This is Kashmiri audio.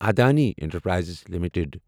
Adani Enterprises limited